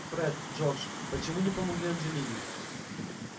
фред джордж почему не помогли анджелине